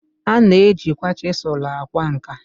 A na-ejikwa chisulu akwa nka.